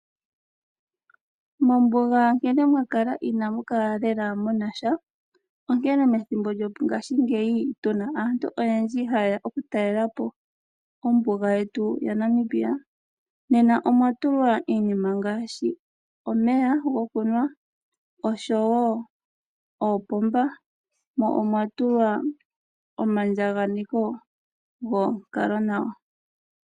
Mombuga nkene mwa kala ina mu kala lela mu na sha. Onkene methimbo lyongashingeyi tu na aantu oyendji ha ye ya okutalela po ombuga yetu yaNamibia omwa tulwa iinima ngaashi omeya gokunwa osho wo oopomba mo omwa tulwa omaandjakaneko gonkalo nawa.